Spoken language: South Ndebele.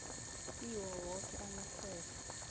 kiwo woke amahlelo